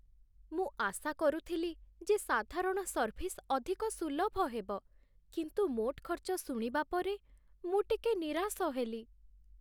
ମୁଁ ଆଶା କରୁଥିଲି ଯେ ସାଧାରଣ ସର୍ଭିସ୍ ଅଧିକ ସୁଲଭ ହେବ, କିନ୍ତୁ ମୋଟ ଖର୍ଚ୍ଚ ଶୁଣିବା ପରେ ମୁଁ ଟିକେ ନିରାଶ ହେଲି।